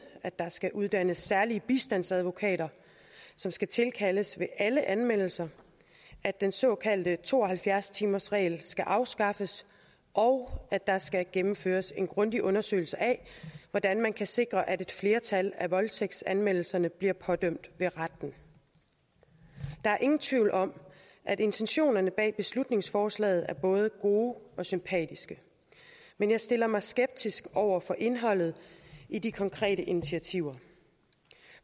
at der skal uddannes særlige bistandsadvokater som skal tilkaldes ved alle anmeldelser at den såkaldte to og halvfjerds timersregel skal afskaffes og at der skal gennemføres en grundig undersøgelse af hvordan man kan sikre at et flertal af voldtægtsanmeldelserne bliver pådømt ved retten der er ingen tvivl om at intentionerne bag beslutningsforslaget er både gode og sympatiske men jeg stiller mig skeptisk over for indholdet i de konkrete initiativer